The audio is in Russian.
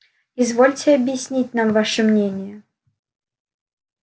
извольте объяснить нам ваше мнение